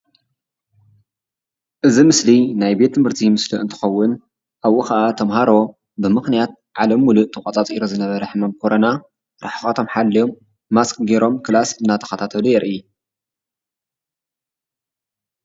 እዚ ምስሊ ናይ ቤት ትምህርቲ ምስሊ እንትከውን ኣብኡ ከዓ ተማሃሮ ብምክንያት ዓለም ሙሉእ ተቋፃፅሩ ዝነበረ ሕማም ኮረና ርሕቀቶም ሓልዩም ማስክ ገይሮም ክላስ እደተካታተሉ የርኢ።